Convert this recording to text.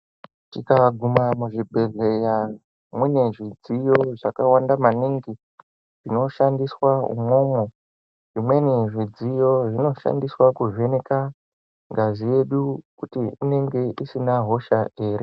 Tikaguma muzvibhehleya mune midziyo yakawanda maningi inoshandiswa imwomwo zvimweni zvidziyo zvinoshandiswa kuvheneka ngazi yedu kuti inenge isina hosha ere.